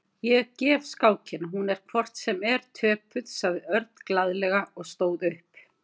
Ég gef skákina, hún er hvort sem er töpuð, sagði Örn glaðlega og stóð upp.